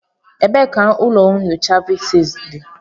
Ebee ka ụlọ nyocha Fiziks dị?